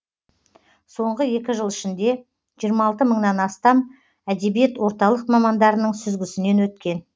соңғы екі жыл ішінде жиырма алты мыңнан астам әдебиет орталық мамандарының сүзгісінен өткен